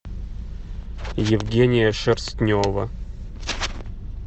евгения шерстнева